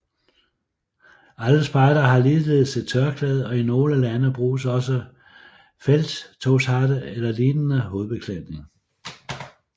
Alle spejdere har ligeledes et tørklæde og i nogle lande bruges også felttogshatte eller lignende hovedbeklædning